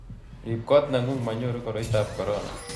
riib koot ng'ung' manyoru koroitab korona